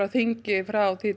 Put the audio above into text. á þingi frá